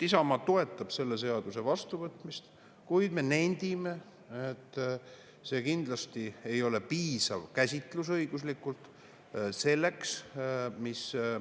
Isamaa toetab selle seaduse vastuvõtmist, kuid me nendime, et see ei ole kindlasti piisav õiguslik käsitlus.